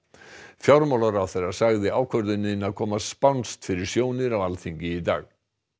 fjármálaráðherra sagði ákvörðunina koma spánskt fyrir sjónir á Alþingi í dag